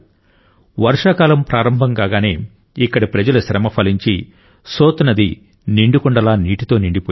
వర్షాకాలం ప్రారంభం కాగానే ఇక్కడి ప్రజల శ్రమ ఫలించి సోత్ నది నిండుకుండలా నీటితో నిండిపోయింది